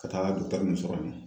Ka taa muso kama